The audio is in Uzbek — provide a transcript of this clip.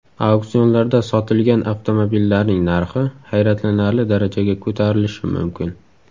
Auksionlarda sotilgan avtomobillarning narxi hayratlanarli darajaga ko‘tarilishi mumkin.